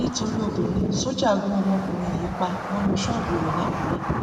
nítorí obìnrin sójà gun ọmọkùnrin yìí pa mọnú ṣọọbù rẹ lákùrẹ